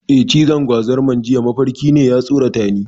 Eh, cizon gwazarmar jiya mafarki ne, ya tsoratani.